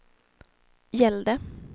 gällde